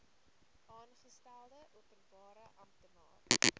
aangestelde openbare amptenaar